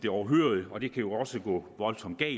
overhørig og det kan jo også gå voldsomt